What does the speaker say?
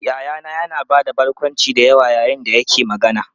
Yayana yana ba da barkwanci da yawa yayin da yake magana.